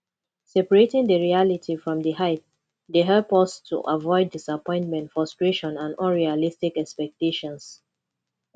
separating di reality from di hype dey help us to avoid disappointment frustration and unrealistic expectations